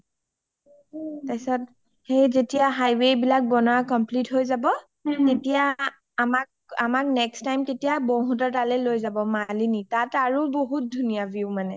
তাৰ পিংছত সেই যেতিয়া highway বিলাক বনোৱা complete হয় যাব আমাক তেতিয়া next time বৌ হতৰ তালে লৈ যাব, মালিনী তাত আৰু বহুত ধূনীয়া view মানে